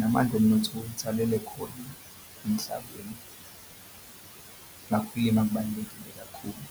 namandla omnotho futhi alele khona emhlabeni. Ngakho ukulima kubalulekile kakhulu.